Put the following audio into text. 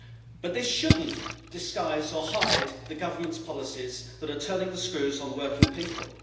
But this should not disguise or hide the Government's policies that are turning the screws on working people.